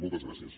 moltes gràcies